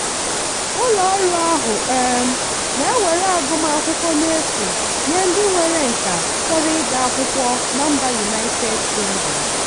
ụlọọrụ ahụ um na-ewere agụmakwụkwọ n'efu nye ndị nwere nkà chọrọ ịga akwụkwọ na mba united kingdom.